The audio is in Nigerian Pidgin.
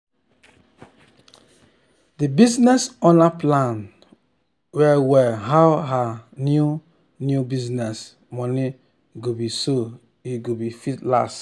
d business owner plan well well how her new new business money go be so e go fit last